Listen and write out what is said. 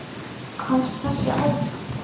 Komst þessi áfram?